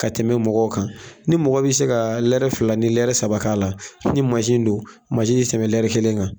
Ka tɛmɛ mɔgɔ kan, ni mɔgɔ bi se ka lɛrɛ fila ni lɛrɛ saba k'a la, ni don ti tɛmɛ lɛrɛ kelen kan.